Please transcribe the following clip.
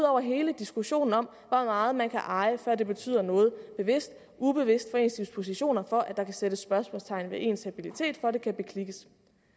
over hele diskussionen om hvor meget man kan eje før det betyder noget bevidst ubevidst for ens dispositioner for at der kan sætte spørgsmålstegn ved ens habilitet for at den kan beklikkes